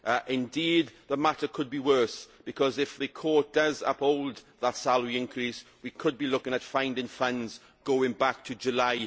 Indeed, the matter could be worse because if the Court does uphold that salary increase, we could be looking at finding funds going back to July